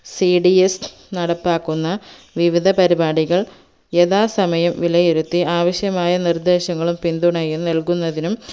cds നടപ്പാക്കുന്ന വിവിധ പരിപാടികൾ യഥാസമയം വിലയിരുത്തി ആവശ്യമായ നിർദേശങ്ങളും പിന്ധുണയും നൽകുന്നത്തിനും